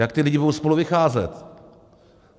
Jak ti lidé budou spolu vycházet?